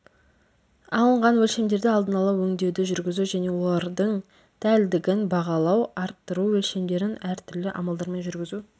алынған өлшемдерді алдын ала өңдеуді жүргізу және олардың дәлдігін бағалау арттыру өлшемдерін әртүрлі амалдармен жүргізу